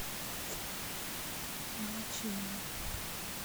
моллачиева